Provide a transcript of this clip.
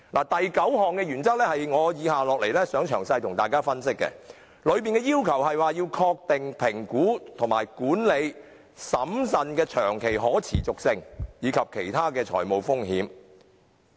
第九項原則是我接下來想向大家作出詳細分析的，當中要求確定評估和管理審慎的長期可持續性，以及其他財務風險。